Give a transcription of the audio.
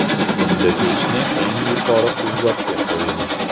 Bunda pechni eng yuqori quvvatga qo‘ying.